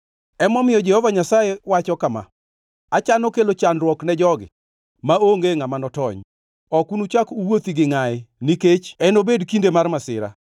Emomiyo Jehova Nyasaye wacho kama: “Achano kelo chandruok ne jogi maonge ngʼama notony. Ok unuchak uwuothi gi ngʼayi nikech enobed kinde mar masira.